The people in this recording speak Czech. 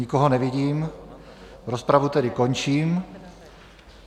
Nikoho nevidím, rozpravu tedy končím.